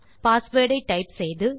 password ஐ type செய்து